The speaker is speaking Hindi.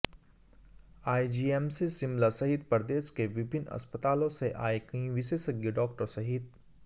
आईजीएमसी शिमला सहित प्रदेश के विभिन्न अस्पतालों से आए कई विशेषज्ञ डाक्टर सहित